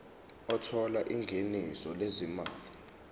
othola ingeniso lezimali